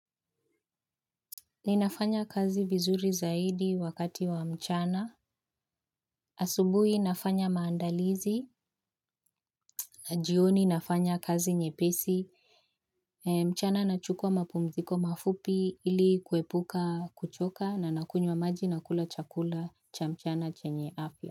Ninafanya kazi vizuri zaidi wakati wa mchana. Asubui nafanya maandalizi na jioni nafanya kazi nyepesi. Mchana nachukua mapumziko mafupi ili kuepuka kuchoka na nakunywa maji na kula chakula cha mchana chenye afya.